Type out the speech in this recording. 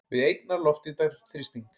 við einnar loftþyngdar þrýsting.